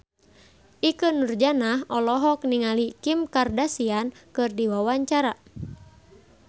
Ikke Nurjanah olohok ningali Kim Kardashian keur diwawancara